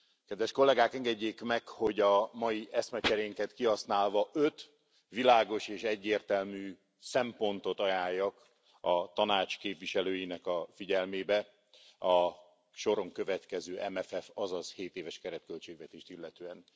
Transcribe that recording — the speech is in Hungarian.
Kedves Kollégák, engedjék meg, hogy a mai eszmecserénket kihasználva öt világos és egyértelmű szempontot ajánljak a Tanács képviselőinek a figyelmébe a soron következő MFF, azaz hétéves keretköltségvetést illetően.